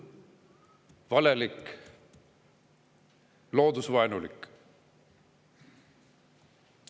Julm, valelik, loodusvaenulik.